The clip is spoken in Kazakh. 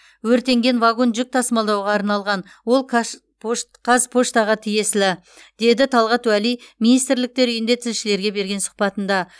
өртенген вагон жүк тасымалдауға арналған ол казпоштаға тиесілі деді талғат уәли министрліктер үйінде тілшілерге берген сұхбатында